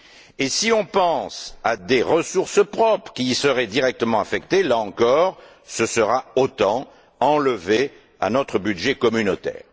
Et si on pense à des ressources propres qui y seraient directement affectées, là encore ce sera autant d'enlevé à notre budget communautaire.